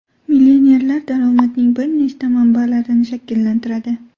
Millionerlar daromadning bir nechta manbalarini shakllantiradi.